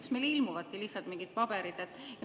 Kas meile ilmuvadki siia lihtsalt mingid paberid?